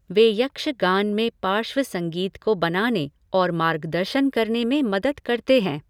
वे यक्षगान में पार्श्व संगीत को बनाने और मार्गदर्शन करने में मदद करते हैं।